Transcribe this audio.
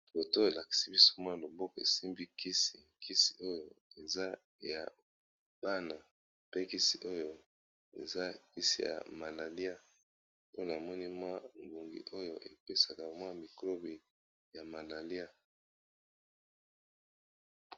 Foto oyo elakisi biso mwa loboko esimbi kisi kisi oyo eza ya bana pe kisi oyo eza kisi ya malaria pona moni mwa ngungi oyo epesaka mwa mikrobe ya malaria.